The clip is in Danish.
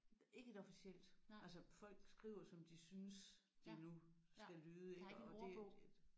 Ikke et officielt altså folk skriver som de synes det nu skal lyde ik og det et